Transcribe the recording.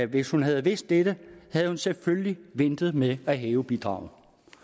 hvis hun havde vidst dette havde hun selvfølgelig ventet med at hæve bidraget